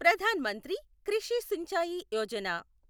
Pradhan Mantri Krishi Sinchayee Yojana